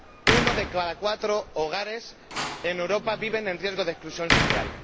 Uno de cada cuatro hogares en Europa vive en riesgo de exclusión social.